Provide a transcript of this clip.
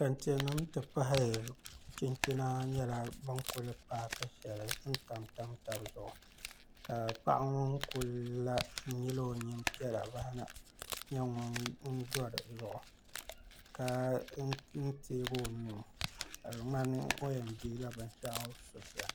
Kɛntɛ nim ti pahi chinchina nyɛla bi ni kuli paaki shɛli n tamtam tabi zuɣu ka paɣa ŋo kuli la n nyili o nyin piɛla baɣa na nyɛ ŋun do dizuɣu ka teegi o nuu ka di ŋmani o yɛn deeila binshaɣu so sani